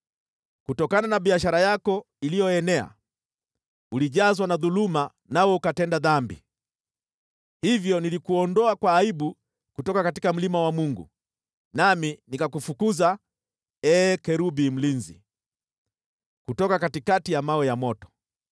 Kutokana na biashara yako iliyoenea, ulijazwa na dhuluma, nawe ukatenda dhambi. Hivyo nilikuondoa kwa aibu kutoka mlima wa Mungu, nami nikakufukuza, ee kerubi mlinzi, kutoka katikati ya vito vya moto.